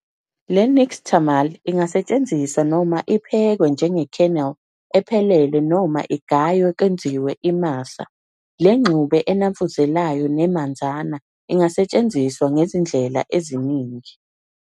Le nixtamal ingasetshenziswa noma iphekwe njenge kernel ephelele noma igaywe kwenziwe imasa, le ngxube enamfuzelayo nemanzana ingasetshenziswa ngezindlela eziningi.